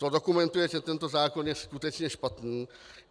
To dokumentuje, že tento zákon je skutečně špatný.